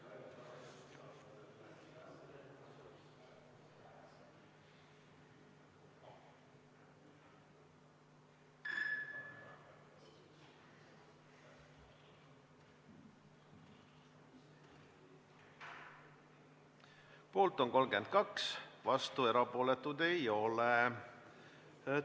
Hääletustulemused Poolt on 32, vastuolijaid ja erapooletuid ei ole.